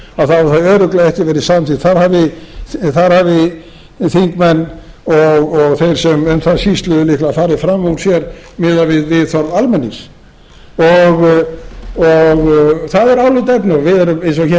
þjóðaratkvæðagreiðslu þá hefði það örugglega ekki verið samþykkt þar hafi þingmenn og þeir sem um það sýsluðu líklega farið fram úr sér miðað við þörf almennings það er álitaefni og við erum eins og hér